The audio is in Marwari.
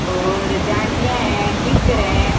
और जानटिया है की कर है।